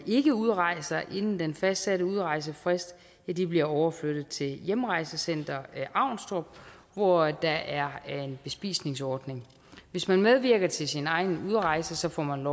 ikke udrejser inden den fastsatte udrejsefrist bliver overflyttet til hjemrejsecenter avnstrup hvor der er en bespisningsordning hvis man medvirker til sine egen udrejse får man